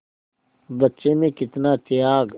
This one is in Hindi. बच्चे में कितना त्याग